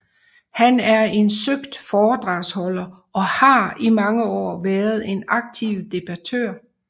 Han er en søgt foredragsholder og har i mange år været en aktiv debattør